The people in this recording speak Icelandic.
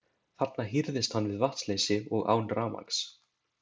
Þarna hírðist hann við vatnsleysi og án rafmagns.